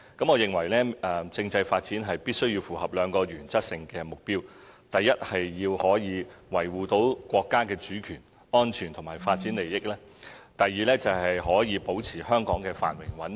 我認為政制發展必須符合兩個原則性的目標：第一，可以維護國家的主權、安全和發展利益；及第二，可以保持香港的繁榮和穩定。